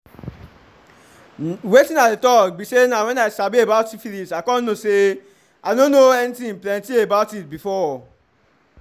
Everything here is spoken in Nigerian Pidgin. wetin i dey talk be say na when i sabi about syphilis i come know say i no know anything plenty about itbefore."